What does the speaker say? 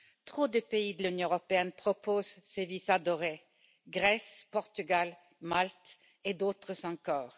Trop de pays de l'Union européenne proposent ces visas dorés Grèce, Portugal, Malte et d'autres encore.